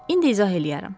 İndi izah eləyərəm.